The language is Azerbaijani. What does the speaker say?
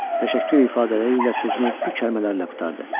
Təşəkkür ifadələri ilə sözünü bu kəlmələrlə qurtardı.